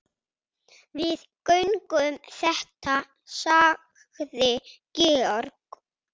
Við göngum þetta sagði Georg.